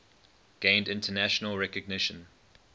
gained international recognition